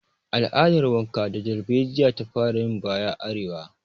Al'adar wanka da darbejiya ta fara yin baya a arewa